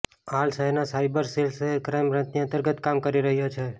હાલ શહેરનો cyber cell શહેર ક્રાઇમ બ્રાંચની અંતર્ગત કામ કરી રહ્યો છે